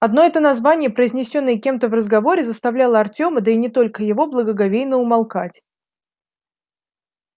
одно это название произнесённое кем-то в разговоре заставляло артёма да и не только его благоговейно умолкать